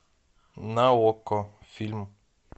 на окко фильм